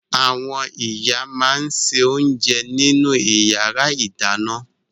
Àwọn ìyá máa ń se oúnjẹ nínú ìyàrá-ìdáná.